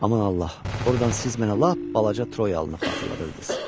Aman Allah, ordan siz mənə lap balaca Troyanı xatırladırdınız.